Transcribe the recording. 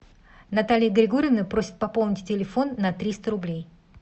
наталья григорьевна просит пополнить телефон на триста рублей